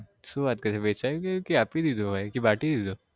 શું વાત કરે વેચાઈ ગયો આપી દેધો હોય કે બાટી દીધો